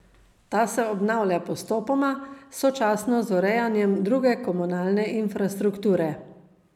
Ta se obnavlja postopoma, sočasno z urejanjem druge komunalne infrastrukture.